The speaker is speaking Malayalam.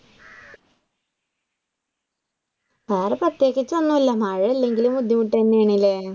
വേറെ പ്രത്യേകിച്ച് ഒന്നുമില്ല മഴയില്ലെങ്കിലും ബുദ്ധിമുട്ട് തന്നെയാണല്ലേ.